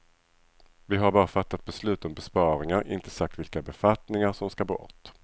Vi har bara fattat beslut om besparingar, inte sagt vilka befattningar som ska bort.